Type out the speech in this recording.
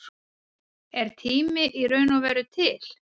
Er tími í raun og veru til?